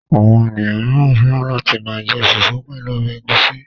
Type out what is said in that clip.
Àwọn ènìyàn mìíràn fẹ́ràn láti máa jẹ fùfú pẹ̀lú ọbẹ̀ ẹ̀gúsí.